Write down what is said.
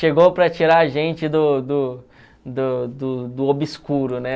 Chegou para tirar a gente do do do do do obscuro, né?